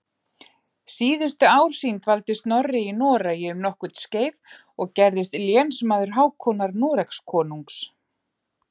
Síðustu ár sín dvaldi Snorri í Noregi um nokkurt skeið og gerðist lénsmaður Hákonar Noregskonungs.